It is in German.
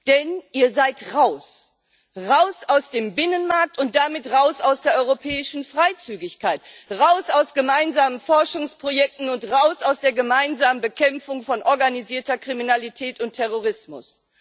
Denn ihr seid raus. Raus aus dem Binnenmarkt und damit raus aus der europäischen Freizügigkeit, raus aus gemeinsamen Forschungsprojekten und raus aus der gemeinsamen Bekämpfung von organisierter Kriminalität und Terrorismus.